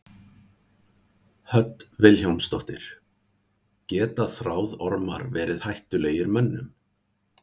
Hödd Vilhjálmsdóttir: Geta þráðormar verið hættulegir mönnum?